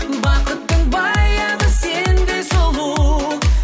бақыттың баяны сендей сұлу